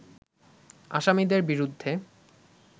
আসামিদের বিরুদ্ধে